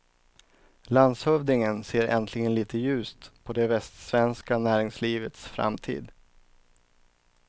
Landshövdingen ser äntligen litet ljust på det västsvenska näringslivets framtid.